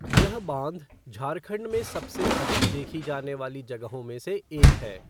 ये बाँध झारखंड में सबसे अधिक देखी जाने वाली जगहों में से एक है।